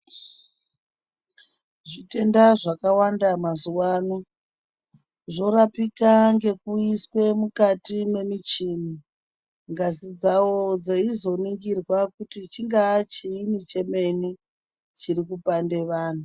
Zvitenda zvaka wanda mazuva ano zvorapika ngekuiswe mukati me michini ngazi dzavo dzeizo ningirwa kutj chingava and chii chemeni chiri kupanda vantu.